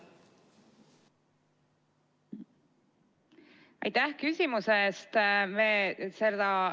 Aitäh küsimuse eest!